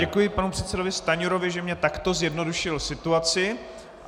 Děkuji panu předsedovi Stanjurovi, že mně takto zjednodušil situaci.